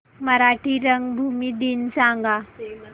मराठी रंगभूमी दिन सांगा